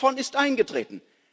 Nichts davon ist eingetreten.